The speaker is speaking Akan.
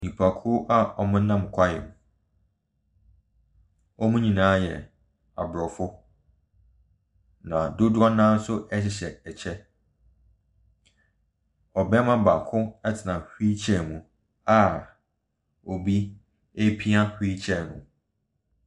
Nnipakuo a wɔnam hwaeɛ mu. Wɔn nyinaa yɛ Abrɔfo. Na dodoɔ no ara hyehyɛ ɛkyɛ. Ɔbarima baako tena wheel chair mu a obi repia wheel chair no.